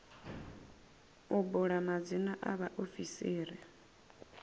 u bula madzina a vhaofisiri